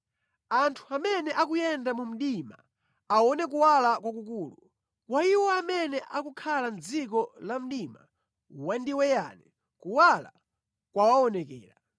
Anthu oyenda mu mdima awona kuwala kwakukulu; kwa iwo okhala mʼdziko la mdima wandiweyani kuwunika kwawafikira.